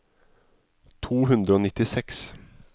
to hundre og nittiseks